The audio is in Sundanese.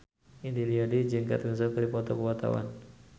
Didi Riyadi jeung Kate Winslet keur dipoto ku wartawan